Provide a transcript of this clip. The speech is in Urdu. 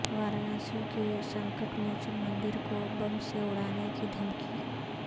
وارانسی کے سنکٹ موچن مندر کو بم سے اڑانے کی دھمکی